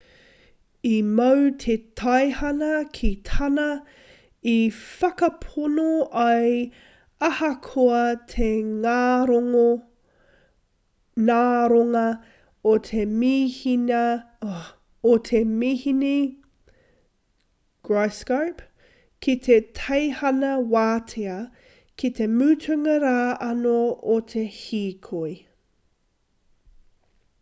i mau te teihana ki tāna i whakapono ai ahakoa te ngaronga o te mīhini gyroscope ki te teihana wātea ki te mutunga rā anō o te hīkoi